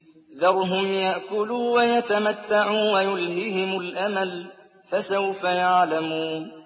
ذَرْهُمْ يَأْكُلُوا وَيَتَمَتَّعُوا وَيُلْهِهِمُ الْأَمَلُ ۖ فَسَوْفَ يَعْلَمُونَ